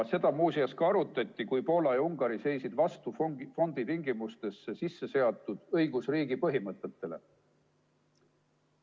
Seda muuseas ka arutati, kui Poola ja Ungari seisid vastu fondi tingimustesse sisse seatud õigusriigi põhimõtetele.